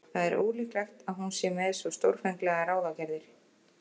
En það er ólíklegt að hún sé með svo stórfenglegar ráðagerðir.